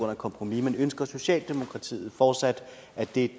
af et kompromis men ønsker socialdemokratiet fortsat at det